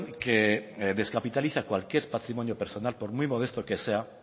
que descapitaliza cualquier patrimonio personal por muy modesto que sea